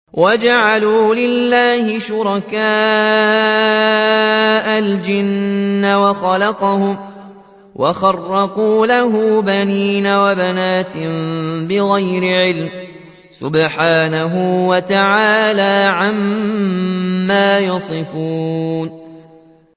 وَجَعَلُوا لِلَّهِ شُرَكَاءَ الْجِنَّ وَخَلَقَهُمْ ۖ وَخَرَقُوا لَهُ بَنِينَ وَبَنَاتٍ بِغَيْرِ عِلْمٍ ۚ سُبْحَانَهُ وَتَعَالَىٰ عَمَّا يَصِفُونَ